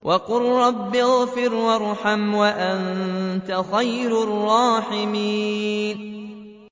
وَقُل رَّبِّ اغْفِرْ وَارْحَمْ وَأَنتَ خَيْرُ الرَّاحِمِينَ